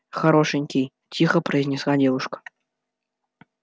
хорошенький тихо произнесла девушка